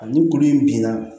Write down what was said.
Ani kuru in bin na